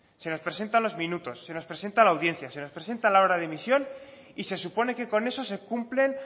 se nos presenta los minutos se nos presenta la audiencia se nos presenta la hora de emisión y se supone que con eso se cumplen